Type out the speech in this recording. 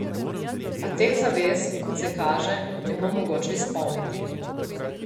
A teh zavez, kot vse kaže, ne bo mogoče izpolniti.